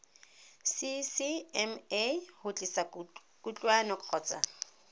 ccma go tlisa kutlwano kgotsa